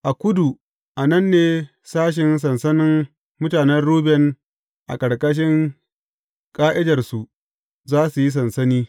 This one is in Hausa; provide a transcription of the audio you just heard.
A kudu, a nan ne sashe sansanin mutanen Ruben a ƙarƙashin ƙa’idarsu, za su yi sansani.